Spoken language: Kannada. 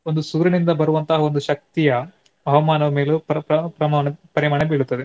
ಒಂದು ಸೂರ್ಯನಿಂದ ಬರುವಂತಹ ಒಂದು ಶಕ್ತಿಯ ಹವಾಮಾನದ ಮೇಲೂ ಪ್ರ~ ಪ~ ಪ್ರಮಾಣ ಪರಿಮಾಣ ಬೀಳುತ್ತದೆ.